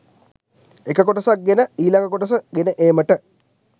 එක කොටසක් ගෙන ගොස් ඊළඟ කොටස ගෙන ඒමට